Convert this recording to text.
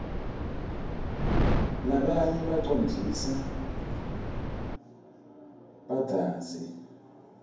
rabanye bacondzlsa badzazi